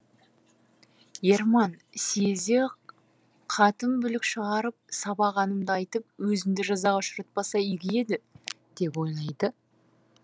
ерман сиезде қатын бүлік шығарып сабағанымды айтып өзімді жазаға ұшыратпаса игі еді деп ойлайды